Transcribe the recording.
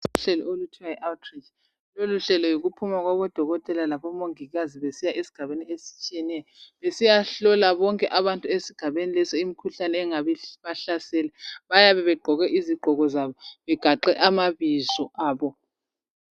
Uhlelo oluthiwa yi awuthiritshi, loluhlelo yikuphuma kwabo dokothela labomongikazi ezigabeni ezitshiyeneyo, besiyahlola abantu ezigabeni lezo imikhuhlane esingabahlasela bayabe begqoke izigqoko zabo begaxe amabizo abo.